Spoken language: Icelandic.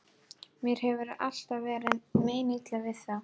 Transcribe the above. Mér hefur alltaf verið meinilla við þá.